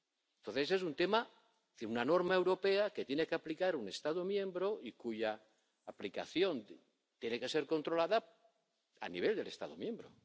Entonces, se trata de una norma europea que tiene que aplicar un Estado miembro y cuya aplicación tiene que ser controlada a nivel del Estado miembro.